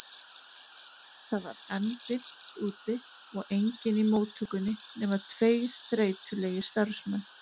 Það var enn dimmt úti og enginn í móttökunni nema tveir þreytulegir starfsmenn.